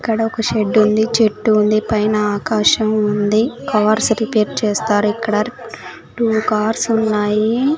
అక్కడ ఒక షెడ్డుంది చెట్టు ఉంది పైన ఆకాశం ఉంది కార్స్ రీపేర్ చేస్తారు ఇక్కడ టూ కార్స్ ఉన్నాయి.